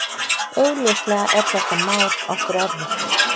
Augljóslega er þetta mál okkur erfitt